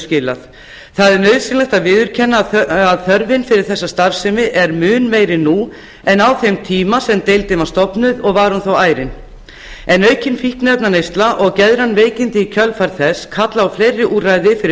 skilað nauðsynlegt er að viðurkenna að þörfin fyrir slíka starfsemi er mun meiri nú en á þeim tíma sem deildin var stofnuð og var hún þó ærin aukin fíkniefnaneysla og geðræn veikindi í kjölfar þess kalla á fleiri úrræði fyrir